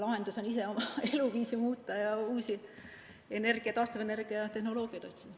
Lahendus on ise oma eluviisi muuta ja uusi taastuvenergia tehnoloogiaid otsida.